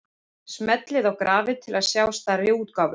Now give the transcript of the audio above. Smellið á grafið til að sjá stærri útgáfu.